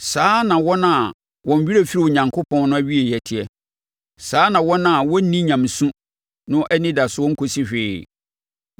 Saa na wɔn a wɔn werɛ firi Onyankopɔn no awieeɛ teɛ; saa na wɔn a wɔnni nyamesu no anidasoɔ nkɔsi hwee.